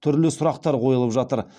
түрлі сұрақтар қойылып жатыр